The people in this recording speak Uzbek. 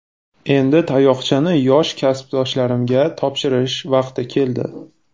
Endi tayoqchani yosh kasbdoshlarimga topshirish vaqti keldi.